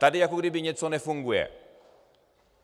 Tady jako když něco nefunguje.